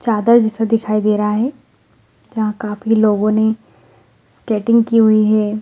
चादर जैसा दिखाई दे रहे है जहा काफी लोगो ने स्केटिंग की हुई है।